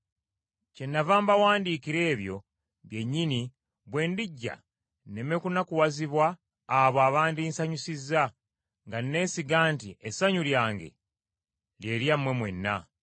Kyennava mbawandiikira ebyo byennyini bwe ndijja nneme kunakuwazibwa abo abandinsanyusizza, nga nnesiga nti essanyu lyange lye lyammwe mwenna.